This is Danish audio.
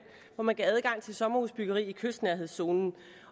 hvor man gav adgang til sommerhusbyggeri i kystnærhedszonen